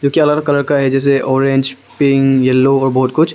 Colour का है जैसे ऑरेंज पिंक येलो और बहुत कुछ।